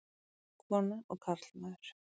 Kona og karlmaður.